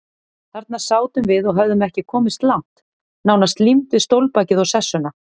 Þarna sátum við og höfðum ekki komist langt, nánast límd við stólbakið og sessuna.